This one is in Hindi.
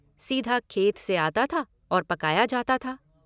सीधा खेत से आता था और पकाया जाता था।